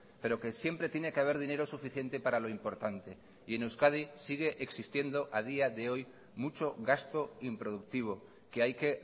pero que siempre tiene que haber dinero suficiente para lo importante y en euskadi sigue existiendo a día de hoy mucho gasto improductivo que hay que